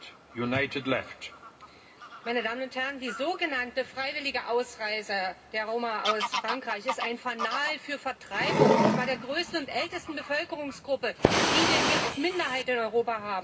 Herr Präsident, meine Damen und Herren! Die so genannte freiwillige Ausreise der Roma aus Frankreich ist ein Fanal der Vertreibung und zwar der größten und ältesten Bevölkerungsgruppe, die wir hier als Minderheit in Europa haben.